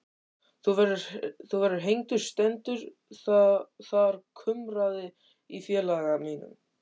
Þú verður hengdur stendur þar kumraði í félaga mínum.